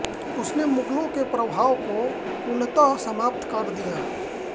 उसने मुगलों के प्रभाव को पूर्णतः समाप्त कर दिया